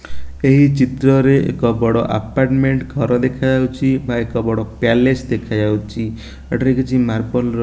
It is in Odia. ଏହି ଚିତ୍ରରେ ଏକ ବଡ ଆପାର୍ଟମେଣ୍ଟ ଘର ଦେଖାଯାଉଛି ଆଉ ଏକ ବଡ ପ୍ୟାଲେସ ଦେଖାଯାଉଚି ଏଠାରେ କିଛି ମାର୍ବଲ ର --